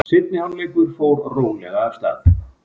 Seinni hálfleikur fór rólega af stað.